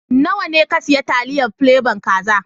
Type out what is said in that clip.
Nawa ne ka siya taliyar plebon kaza